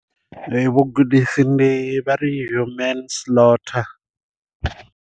Vhugudisi ndi vha ri human slaughter.